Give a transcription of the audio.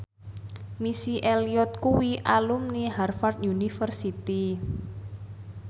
Missy Elliott kuwi alumni Harvard university